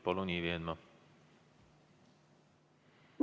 Palun, Ivi Eenmaa!